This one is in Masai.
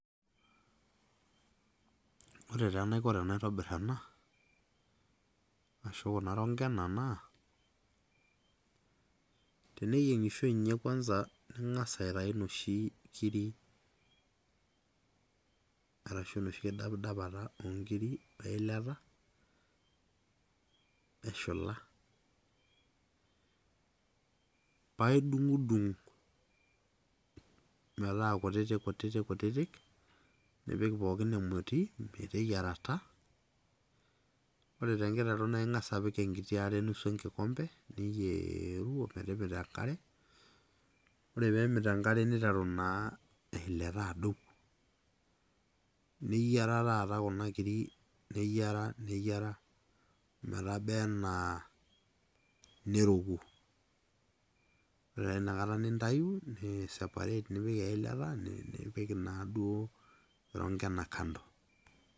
Kore taa enaikoo tanaitobir enaa, arashu kuna rongena naa, kileiki enkishui enye kwanza, ing'as aitayu inoshi kiri arashu enoshi kidapadapata oonkiri o eilata eshula. Paa idung'udung' metaa kutitikutitikutitik nipik pookin emotii meteyiarata. Ore te nkiteru naa ing'as apik enkiti are nusu e nkikombe niyeewuo metimita enkare. Ore naa peemit enkare neiteru naa eilata adou. Neyera taata kuna kiri neyera neyera metebaa anaa neroku. Ore taa inakataa nintayu niki separate nipik eilata nipik naaduo irongena kando.